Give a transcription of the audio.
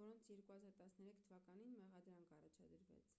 որոնց 2013 թվականին մեղադրանք առաջադրվեց